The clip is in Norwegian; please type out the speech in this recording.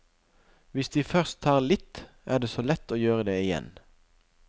Hvis de først tar litt, er det så lett å gjøre det igjen.